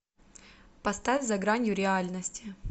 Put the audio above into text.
поставь за гранью реальности